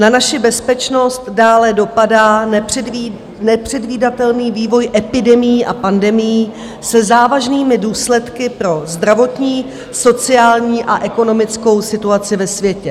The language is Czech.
Na naši bezpečnost dále dopadá nepředvídatelný vývoj epidemií a pandemií se závažnými důsledky pro zdravotní, sociální a ekonomickou situaci ve světě.